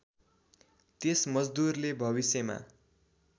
त्यस मजदूरले भविष्यमा